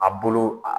A bolo a